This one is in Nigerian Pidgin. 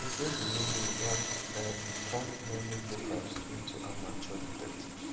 e say di mystery don um turn many locals into amateur detectives